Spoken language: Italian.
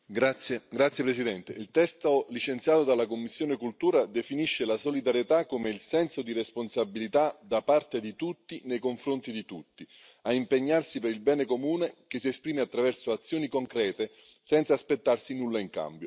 Signora presidente, onorevoli colleghi, il testo licenziato dalla commissione Cultura definisce la solidarietà come il senso di responsabilità da parte di tutti, nei confronti di tutti, a impegnarsi per il bene comune, che si esprime attraverso azioni concrete senza aspettarsi nulla in cambio.